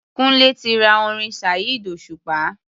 Kúńlé ti ra orin Saheed Osupa.